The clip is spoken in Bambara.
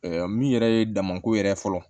min yɛrɛ ye damako yɛrɛ fɔlɔ